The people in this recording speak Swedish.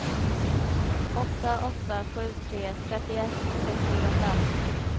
åtta åtta sju tre trettioett sexhundrafem